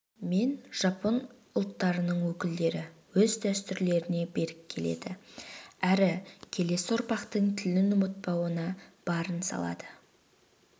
мен жапон ұлттарының өкілдері өз дәстүріне берік келеді әрі келесі ұрпақтың тілін ұмытпауына барын салады